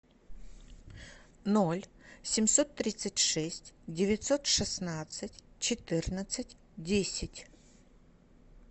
ноль семьсот тридцать шесть девятьсот шестнадцать четырнадцать десять